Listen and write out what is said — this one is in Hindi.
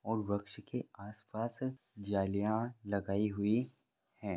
और वृक्ष के आसपास जालियां लगाई हुई है।